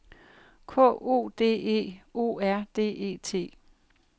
K O D E O R D E T